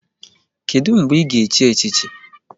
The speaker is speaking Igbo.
Kedụ mgbe ị ga-echi echichi?